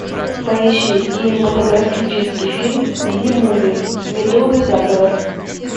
поищи кинематографический фильм би муви медовый заговор